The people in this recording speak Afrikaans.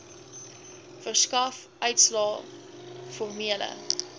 verskaf uitslae formele